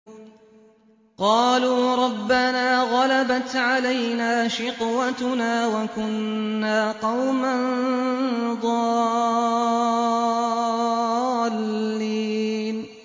قَالُوا رَبَّنَا غَلَبَتْ عَلَيْنَا شِقْوَتُنَا وَكُنَّا قَوْمًا ضَالِّينَ